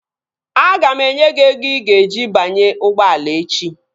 Aga m enye gị ego i ga-eji banye ụgbọala echi